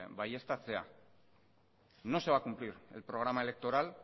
baieztatzea no se va a cumplir el programa electoral